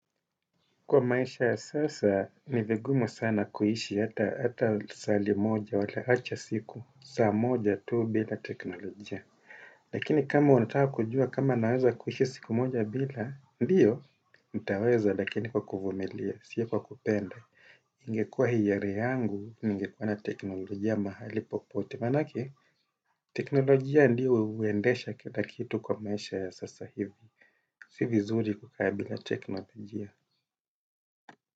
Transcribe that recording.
Kwa maisha ya sasa ni vigumu sana kuishi hata lisaa limoja wala acha siku, saa moja tu bila teknolojia. Lakini kama unataka kujua kama naweza kuishi siku moja bila, ndiyo, nitaweza lakini kwa kuvumilia, sio kwa kupenda. Ingekuwa hiari yangu, ningekuwa na teknolojia mahali popote. Manake, teknolojia ndiyo huendesha kila kitu kwa maisha ya sasa hivi. Si vizuri kukaa bila teknolojia.